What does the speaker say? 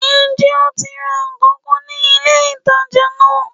Sé o ti ra nkan kan ní ilé ìtajà náà